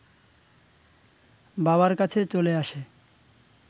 বাবার কাছে চলে আসে